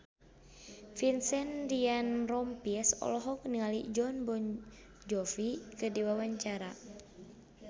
Vincent Ryan Rompies olohok ningali Jon Bon Jovi keur diwawancara